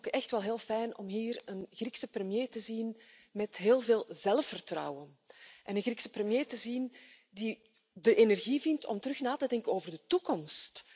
Maar ik vind het ook echt wel heel fijn om hier een Griekse premier te zien met heel veel zelfvertrouwen, een Griekse premier die de energie vindt om weer na te denken over de toekomst.